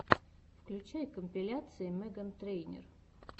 включай компиляции меган трейнер